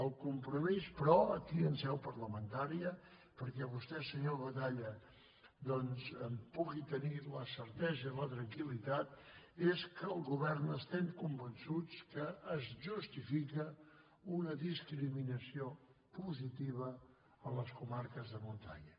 el compromís però aquí en seu parlamentària perquè vostè senyor batalla doncs en pugui tenir la certesa i la tranquil·litat és que al govern estem convençuts que es justifica una discriminació positiva a les comarques de muntanya